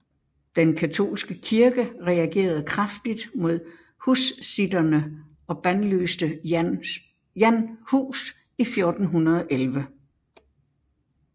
Den katolske kirke reagerede kraftigt mod hussitterne og bandlyste Jan Hus i 1411